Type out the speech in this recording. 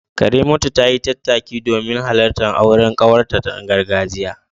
Karimatu tayi tattaki domin halartar auren kawarta na gargajiya.